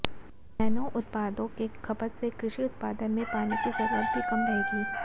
nano उत्पादों के खपत से कृषि उत्पादन में पानी की जरूरत भी कम रहेगी